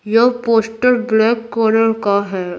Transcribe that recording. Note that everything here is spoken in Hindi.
यह पोस्टर ब्लैक कलर का है।